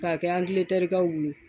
Ka kɛ bolo.